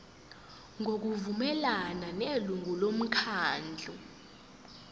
ngokuvumelana nelungu lomkhandlu